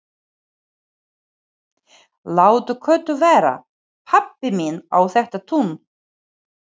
Láttu Kötu vera, pabbi minn á þetta tún!